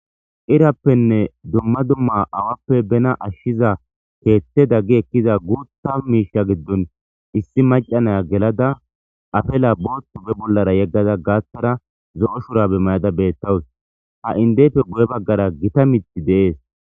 Irappenne dumma dumma awappe bena ashshiza keethte daggi ekkiza guutta miisha giddon issi macanaya gelada afela booththu be bollara yeggada gaathara zo'o shurabe mayada bettawus ha indeyfe guye baggara gita mithi deees